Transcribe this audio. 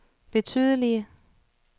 betydelige